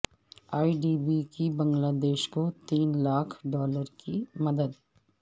اے D B کی Bangladesh کو تین لاکھ ڈالرس کی مدد